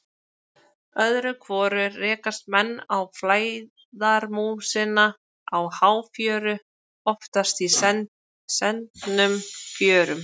Öðru hvoru rekast menn á flæðarmúsina á háfjöru, oftast í sendnum fjörum.